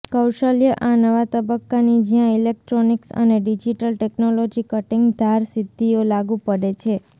કૌશલ્ય આ નવા તબક્કાની જ્યાં ઇલેક્ટ્રોનિક્સ અને ડિજિટલ ટેકનોલોજી કટીંગ ધાર સિદ્ધિઓ લાગુ પડે છે